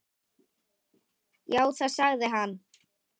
Já, það sagði hann.